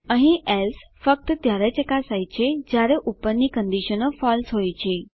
અહીં એલ્સે ફક્ત ત્યારે ચકાસાય છે જયારે ઉપરની કંડીશનો ફળસે હોય છે